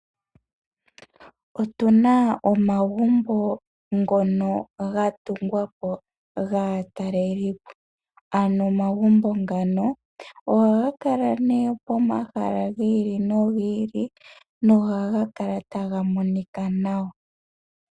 Otuna omagumbo ngono gatungwa po gaatalelipo ano omagumbo ngano ohaga kala nee pomahala giili nogi ili nohaga kala taga monika nawa.